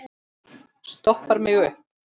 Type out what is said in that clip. Stoppar mig upp?